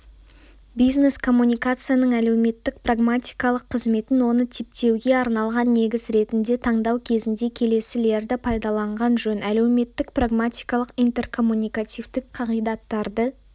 бизнес-коммуникацияның әлеуметтік-прагматикалық қызметін оны типтеуге арналған негіз ретінде таңдау кезінде келесілерді пайдаланған жөн әлеуметтік-прагматикалық интеркоммуникативтік қағидаттарды